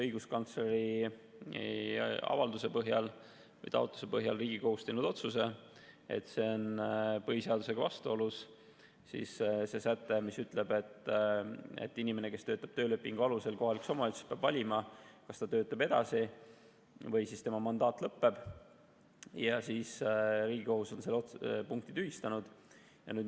Õiguskantsleri avalduse või taotluse põhjal on Riigikohus teinud otsuse, et see on põhiseadusega vastuolus, see säte, mis ütleb, et inimene, kes töötab töölepingu alusel kohalikus omavalitsuses, peab valima, kas ta töötab edasi või tema mandaat lõpeb, ja Riigikohus on selle punkti tühistanud.